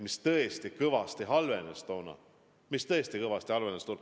Vaimne tervis tõesti kõvasti halvenes toona, tõesti halvenes.